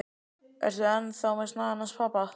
Ertu enn þá með snagann hans pabba?